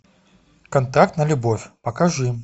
контракт на любовь покажи